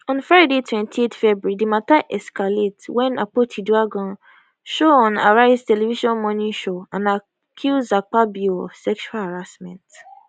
on friday 28 february di mata escalate wem akpotiuduaghan show on arise television morning show and accuse akpabio of sexual harassment